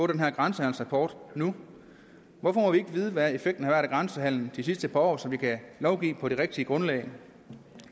den her grænsehandelsrapport nu hvorfor må vi ikke vide hvad effekten af grænsehandelen har de sidste par år så vi kan lovgive på det rigtige grundlag